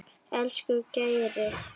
Elsku Geiri.